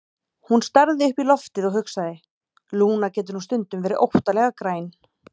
Hún starði upp í loftið og hugsaði: Lúna getur nú stundum verið óttalega græn.